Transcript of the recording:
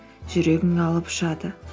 жүрегің алып ұшады